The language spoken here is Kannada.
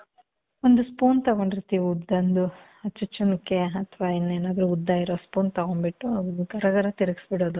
ಒಂದು spoon ತಗೊಂದಿರ್ತೀವಿ ಉದ್ದಂದು. ಚುಚ್ಚಣಿಕೆ ಆ ಥರ ಇನ್ನೇನಾದ್ರು ಉದ್ದ ಇರೋ spoon ತಗೊಂಡ್ ಬಿಟ್ಟು, ಗರ ಗರ ತಿರಿಗಿಸ್ಬಿಡೋದು.